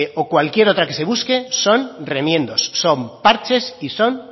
o cualquier otra que se busque son remiendos son parches y son